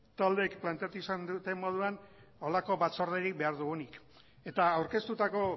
taldeek planteatu izan duten moduan horrelako batzorderik behar dugunik eta aurkeztutako